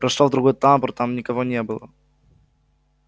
прошёл в другой тамбур там никого не было